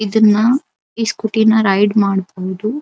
ಇದನ್ನಾ ಈ ಸ್ಕೂಟಿನಾ ರೈಡ್ ಮಾಡಬಹುದು.